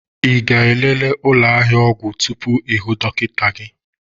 Ị ga-elele ụlọ ahịa ọgwụ tupu ịhụ dọkịta gị?